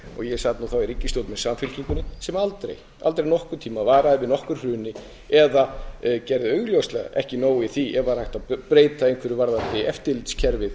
sat nú þá í ríkisstjórn með samfylkingunni sem aldrei aldrei nokkurn tímann varaði við nokkru hruni eða gerði augljóslega ekki nóg í því ef var hægt að breyta einhverju varðandi eftirlitskerfið